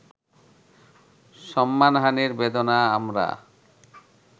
সম্মানহানির বেদনা আমরা